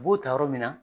U b'o ta yɔrɔ min na